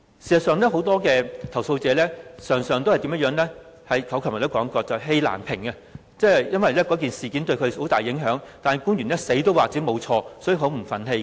事實上，我昨天也說過，很多投訴者常常氣難平，因為事件對他們有很大影響，但官員堅持自己沒有犯錯，所以他們很不忿氣。